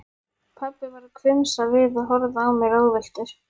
Pabbi varð hvumsa við og horfði á mig ráðvilltur.